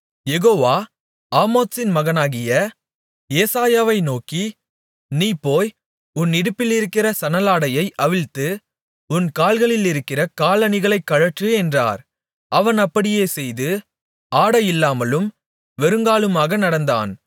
யெகோவா ஆமோத்சின் மகனாகிய ஏசாயாவை நோக்கி நீ போய் உன் இடுப்பிலிருக்கிற சணலாடையை அவிழ்த்து உன் கால்களிலிருக்கிற காலணிகளைக் கழற்று என்றார் அவன் அப்படியே செய்து ஆடையில்லாமலும் வெறுங்காலுமாக நடந்தான்